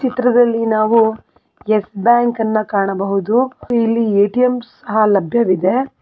ಚಿತ್ರದಲ್ಲಿ ನಾವು ಎಸ್ ಬ್ಯಾಂಕನ್ನ ಕಾಣಬಹುದು ಇಲ್ಲಿ ಎ_ಟಿ_ಎಂ ಸಹ ಲಭ್ಯವಿದೆ.